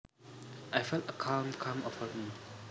I felt a calm come over me